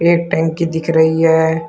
एक टंकी दिख रही है।